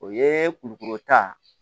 O ye kulukoro ta